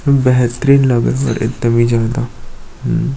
ये बैहतरीन लग रहा है तभी जनता--